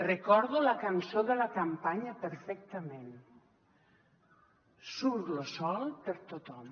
recordo la cançó de la campanya perfectament surt lo sol per a tothom